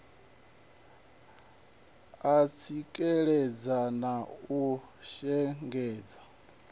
u tsikeledza na u shengedza